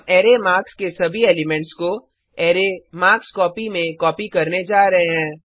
हम array marks के सभी एलिमेंट्स को अरै मार्कस्कोपी में कॉपी करने जा रहे हैं